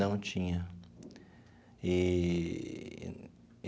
Não tinha eee.